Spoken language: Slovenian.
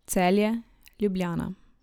Celje, Ljubljana.